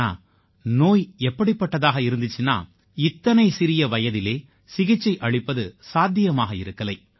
ஆனா நோய் எப்படிப்பட்டதாக இருந்திச்சுனா இத்தனை சிறிய வயதிலே சிகிச்சை அளிப்பது சாத்தியமாக இருக்கலை